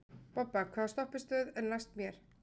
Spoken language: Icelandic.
Bobba, hvaða stoppistöð er næst mér?